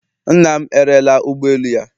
Nna m erela ụgbọ elu ya